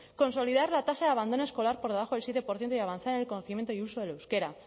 consolidar la tasa de abandono escolar por debajo del siete por ciento y avanzar en el conocimiento y uso del euskera